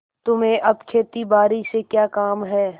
तुम्हें अब खेतीबारी से क्या काम है